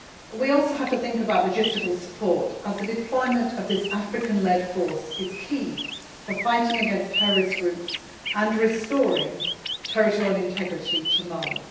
We also have to think about logistical support, as the deployment of this African led force is key for fighting against terrorist groups and restoring territorial integrity to Mali.